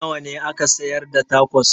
Nawa ne ake sayar da tacos?